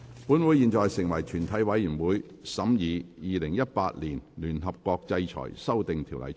本會現在成為全體委員會，審議《2018年聯合國制裁條例草案》。